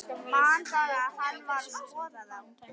Flaskan verður fótakefli flestum þeim sem hana tæma.